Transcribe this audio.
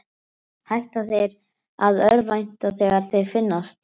Hætta þeir að örvænta þegar þeir finnast?